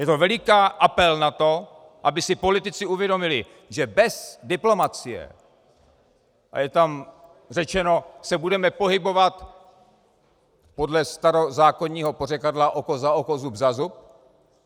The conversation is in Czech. Je to veliký apel na to, aby si politici uvědomili, že bez diplomacie - a je tam řečeno - se budeme pohybovat podle starozákonního pořekadla oko za oko, zub za zub.